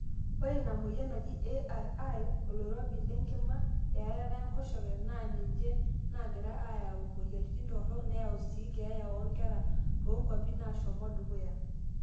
ore ina mweyian naji ARI, oloirobi le nkima, earata enkoshoke naa ninje naagira aaya mweyiaritin torok neyau sii keeya oonkera toonkuapi naashomo dukuya